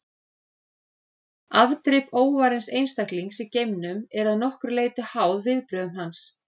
Afdrif óvarins einstaklings í geimnum eru að nokkru leyti háð viðbrögðum hans.